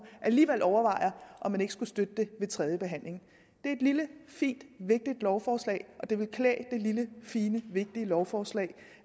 alligevel overvejer om man ikke skulle støtte det ved tredje behandling det er et lille fint vigtigt lovforslag og det vil klæde det lille fine vigtige lovforslag